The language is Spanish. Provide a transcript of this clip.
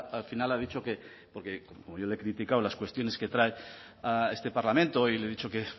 al final ha dicho que porque como yo le he criticado las cuestiones que traen a este parlamento y le he dicho que